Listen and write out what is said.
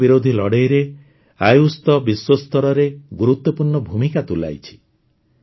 corona ବିରୋଧୀ ଲଢ଼େଇରେ ଆୟୁଷ ତ ବିଶ୍ୱସ୍ତରରେ ଗୁରୁତ୍ୱପୂର୍ଣ୍ଣ ଭୂମିକା ତୁଲାଇଛି